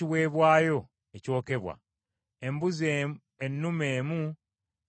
embuzi ennume emu nga ya kiweebwayo olw’ekibi;